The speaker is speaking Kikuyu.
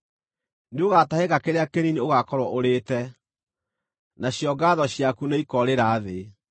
Nĩũgatahĩka kĩrĩa kĩnini ũgaakorwo ũrĩĩte, nacio ngaatho ciaku nĩikoorĩra thĩ.